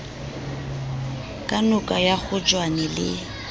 ka noka ya kgotjwane le